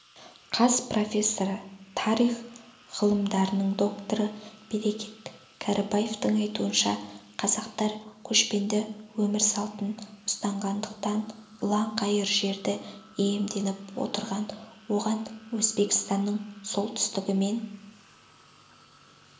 қаз профессоры тарих ғылымдарының докторы берекет кәрібаевтың айтуынша қазақтар көшпенді өмір салтын ұстанғандықтан ұлан-ғайыр жерді иемденіп отырған оған өзбекстанның солтүстігі мен